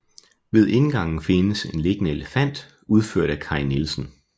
Ved indgangen findes en liggende elefant udført af Kai Nielsen